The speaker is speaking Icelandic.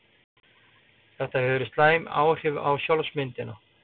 Þetta hefur slæm áhrif á sjálfsmyndina.